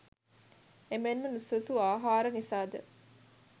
එමෙන්ම නුසුදුසු ආහාර නිසා ද